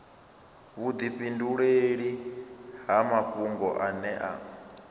vhudifhinduleli ha mafhungo ane a